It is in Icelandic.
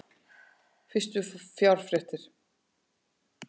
Fyrstu fjárréttir